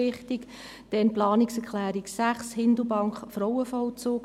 Dann die Planungserklärung 6, Hindelbank Frauenvollzug: